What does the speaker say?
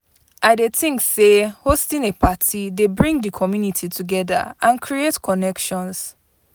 I dey think say hosting a party dey bring di community together and create connections.